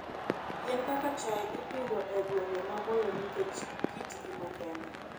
Yien kaka chai ipidho e gwenge maboyo nikech kitgi makende.